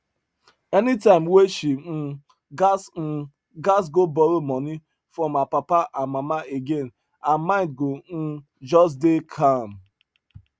anytime wey she um gats um gats go borrow money from her papa and mama again her mind go um just dey calm